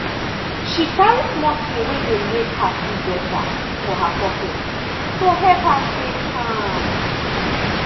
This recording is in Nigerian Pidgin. she carry small thing wey dey make her feel better for her pocket to help her stay calm.